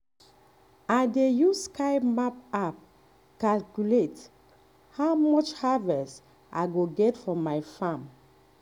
um i dey use sky map app calculate um how much harvest i go get for my farm